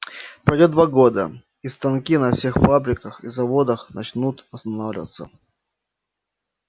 пройдёт два года и станки на всех фабриках и заводах начнут останавливаться